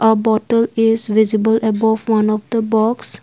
A bottle is visible above one of the box.